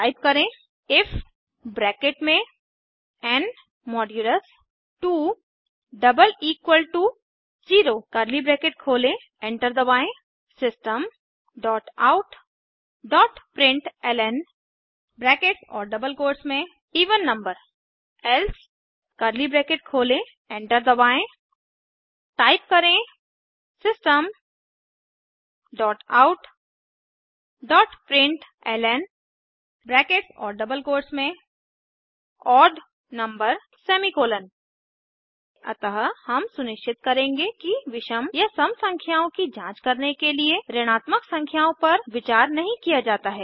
type करें if enter दबाएँ Systemoutprintlnएवेन नंबर एल्से एंटर दबाएँ टाइप करें Systemoutprintlnओड नंबर अतः हम सुनिश्चित करेंगे कि विषम या सम संख्याओं की जांच करने के लिए ऋणात्मक संख्याओं पर विचार नहीं किया जाता है